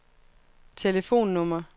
telefonnummer